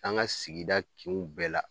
An ka sigida kinw bɛɛ la.